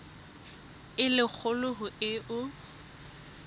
e le kgolo ho eo